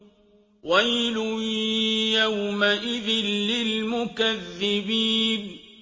وَيْلٌ يَوْمَئِذٍ لِّلْمُكَذِّبِينَ